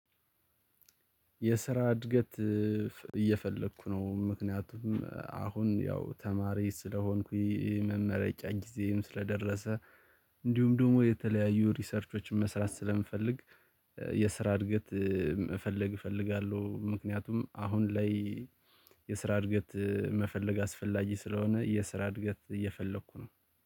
የስራ እድገት እየፈለኩ ነው ምክንያቱም አሁን ያው ተማሪ ስለሆንኩኝ። መረጃ ጊዜም ስለደረሰ እንዲሁም ደግሞ የተለያዩ ሪሰርቾችን መስራት ስለምፈልግ። የስራ እድገት መፈለግ እፈልጋለሁ። ምክንያቱም አሁን ላይ። የስራ እድገት መፈለግ አስፈላጊ ስለሆነ የስራ እድገት እየፈለኩ ነው